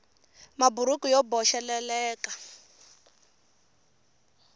maburuku yo boxeleleka